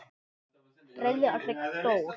Friðrik Þór.